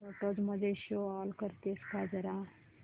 photos मध्ये show all करतेस का जरा